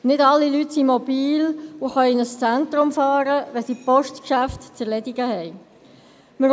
Nicht alle Menschen sind mobil und können in ein Zentrum fahren, wenn sie Postgeschäfte zu erledigen haben.